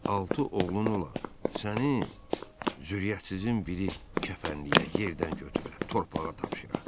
Altı oğlun ola, səni zürriyyətsizin biri kəfənləyə, yerdən götürə, torpağa tapşıra.